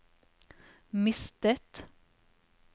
mistet